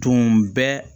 Tun bɛ